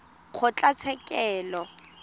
kgotlatshekelo